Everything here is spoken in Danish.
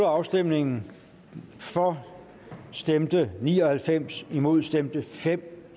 afstemningen for stemte ni og halvfems imod stemte fem